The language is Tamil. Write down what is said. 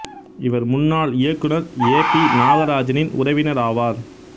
இவர் முன்னாள் இயக்குநர் ஏ பி நாகராஜனின் உறவினர் ஆவார்